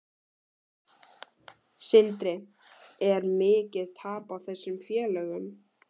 Sindri: Er mikið tap á þessum félögum?